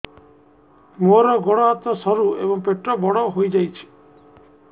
ମୋର ଗୋଡ ହାତ ସରୁ ଏବଂ ପେଟ ବଡ଼ ହୋଇଯାଇଛି